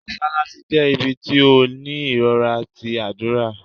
Mosalassi jẹ̀ ibí tí o ní irọra tí adúra.